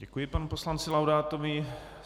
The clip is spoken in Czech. Děkuji panu poslanci Laudátovi.